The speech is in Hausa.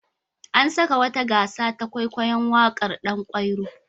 An saka wata gasa ta kwaikwayon waƙar Ɗan kwairo.